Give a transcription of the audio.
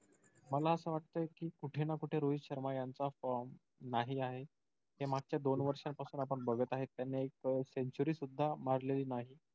मला असं वाटत कि कुठे ना कुठे रोहित शर्मा यांचा form नाही आहे. ते मागच्या दोन वर्षांपासुन आपण बघत आहे. त्याने एक century सुद्धा मारलेली नाही.